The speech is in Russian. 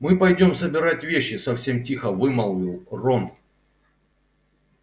мы пойдём собирать вещи совсем тихо вымолвил рон